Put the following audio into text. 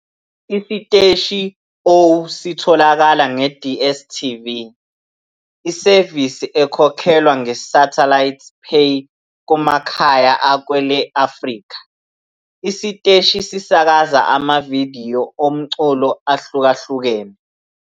Isiteshi O sitholakala nge- DStv, isevisi ekhokhelwa nge-satellite pay kumakhaya akwele-Afrika. Isiteshi sisakaza amavidiyo omculo ahlukahlukene.